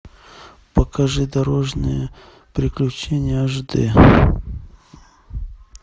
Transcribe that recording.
покажи дорожные приключения аш дэ